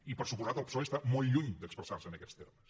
i per descomptat el psoe està molt lluny d’expressar se en aquests termes